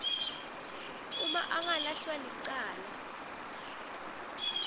uma angalahlwa licala